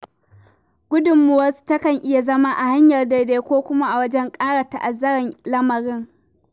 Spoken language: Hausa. Gudummawarsu takan iya zama a hanyar daidai ko kuma a wajen ƙara ta'azzara lamarin.